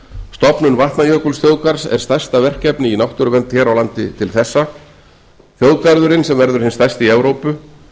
stofnun vatnajökulsþjóðgarðs er stærsta verkefni í náttúruvernd hér á landi til þessa þjóðgarðurinn sem verður hinn stærsti í evrópu